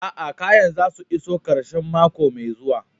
Aa, kayan za su iso karshen mako mai zuwa.